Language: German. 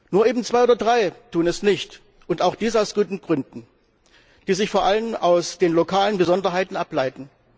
Nur eben Zwei oder drei tun es nicht, und auch dies aus guten Gründen, die sich vor allem aus den lokalen Besonderheiten ableiten.